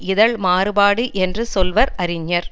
இகழ் மாறுபாடு என்று சொல்வர் அறிஞர்